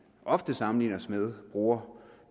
ofte sammenligner os med bruger